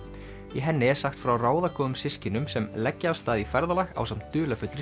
í henni er sagt frá ráðagóðum systkinum sem leggja af stað í ferðalag ásamt dularfullri